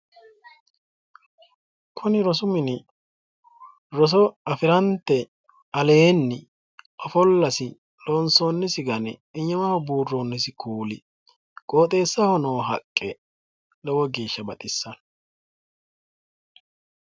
Kunibrosu mini roso afirante aleenni ofollasi loonsoonnisi gari iimaho buurroonnisi kuuli qooxxeessaho noo haqqe lowo geeshsha baxissanno.